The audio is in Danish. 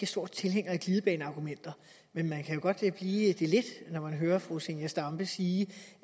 stor tilhænger af glidebaneargumenter men man kan godt blive det lidt når man hører fru zenia stampe sige